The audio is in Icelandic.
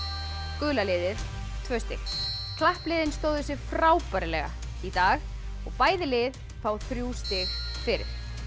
gula liðið tvö stig klappliðin stóðu sig frábærlega í dag og bæði lið fá þrjú stig fyrir